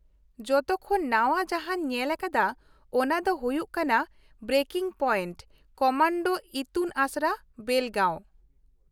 ᱡᱚᱛᱚ ᱠᱷᱚᱱ ᱱᱟᱶᱟ ᱡᱟᱦᱟᱸᱧ ᱧᱮᱞ ᱟᱠᱟᱫᱟ ᱚᱱᱟ ᱫᱚ ᱦᱩᱭᱩᱜ ᱠᱟᱱᱟ 'ᱵᱨᱮᱠᱤᱝ ᱯᱚᱭᱮᱱᱴᱺ ᱠᱚᱢᱟᱱᱰᱳ ᱤᱛᱩᱱ ᱟᱥᱲᱟ, ᱵᱮᱞᱜᱟᱺᱣ '᱾